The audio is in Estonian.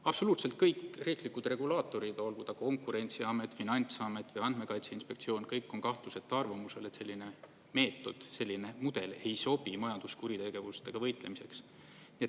Absoluutselt kõik riiklikud regulaatorid, olgu ta Konkurentsiamet, finantsamet või Andmekaitse Inspektsioon, kõik on kahtluseta arvamusel, et selline meetod, selline mudel ei sobi majanduskuritegevusega võitlemiseks.